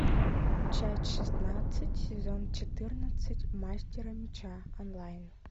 часть шестнадцать сезон четырнадцать мастера меча онлайн